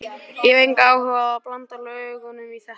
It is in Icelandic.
Ég hef engan áhuga á að blanda löggunni í þetta.